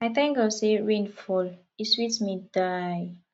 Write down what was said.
i thank god say rain fall e sweet me die